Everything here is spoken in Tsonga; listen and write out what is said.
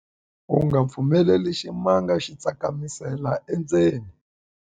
u nga pfumeleli ximanga xi tsakamisela endzeni